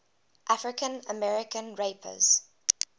african american rappers